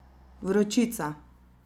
Vročica.